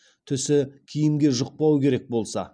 түсі киімге жұқпау керек болса